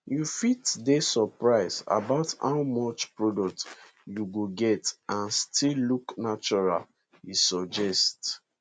you fit dey surprise about how much product you go get and still look natural e suggest